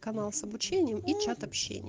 канал с обучением и чат общения